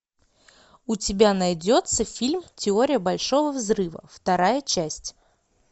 у тебя найдется фильм теория большого взрыва вторая часть